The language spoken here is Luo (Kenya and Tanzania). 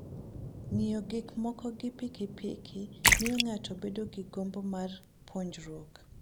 Ng'iyo gik moko gi piki piki miyo ng'ato bedo gi gombo mar puonjruok.